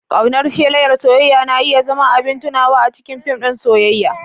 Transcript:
Ƙaunar shelar soyayya na iya zama abin tunawa a cikin fim ɗin soyayya.